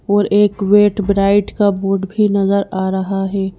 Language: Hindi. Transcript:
और एक वेट ब्राइट का बोर्ड भी नजर आ रहा है।